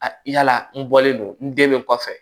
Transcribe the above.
A yala n bɔlen don n den bɛ kɔfɛ